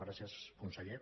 gràcies conseller